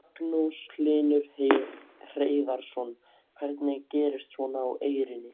Magnús Hlynur Hreiðarsson: Hvernig gerist svona á Eyrinni?